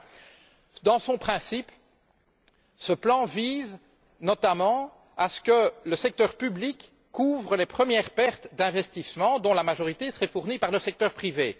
Enfin, de par son principe, ce plan vise notamment à ce que le secteur public couvre les premières pertes d'investissements, dont la majorité serait fournie par le secteur privé.